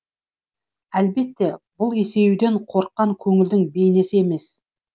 әлбетте бұл есеюден қорыққан көңілдің бейнесі емес